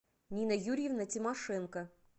нина юрьевна тимошенко